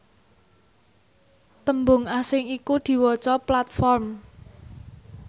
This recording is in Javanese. tembung asing iku diwaca platform